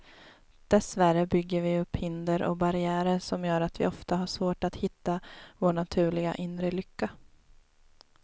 Dessvärre bygger vi upp hinder och barriärer som gör att vi ofta har svårt att hitta vår naturliga, inre lycka.